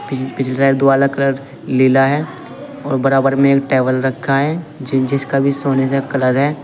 पिछली साइड दीवाल का कलर नीला है और बराबर में एक टेबल रखा है जिसका भी सोने सा कलर है।